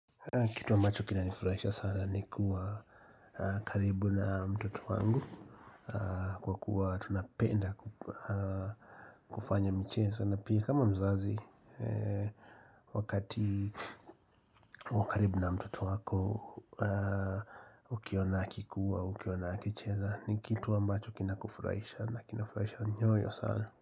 Kitu ambacho kinanifurahisha sana ni kuwa karibu na mtoto wangu, kwa kuwa tunapenda kufanya mchezo, na pia kama mzazi wakati wakaribu na mtoto wako Ukiona akikuwa, ukiona akicheza ni kitu ambacho kina kufurahisha na kina kufurahisha nyoyo sana.